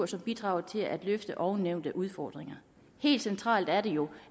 som bidrager til at løfte ovennævnte udfordringer helt centralt er det jo